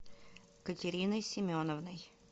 катериной семеновной